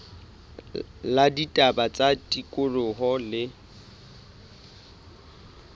la ditaba tsa tikoloho le